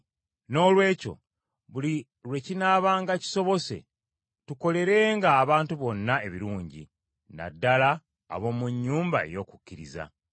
Noolwekyo, buli lwe kinaabanga kisobose tukolerenga abantu bonna ebirungi, na ddala ab’omu nnyumba ey’okukkiriza.